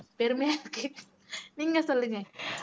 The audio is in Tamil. பெருமையா இருக்கு நீங்க சொல்லுங்க